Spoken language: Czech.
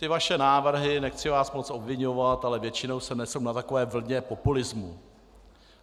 Ty vaše návrhy, nechci vás moc obviňovat, ale většinou se nesou na takové vlně populismu.